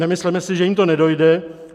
Nemysleme si, že jim to nedojde.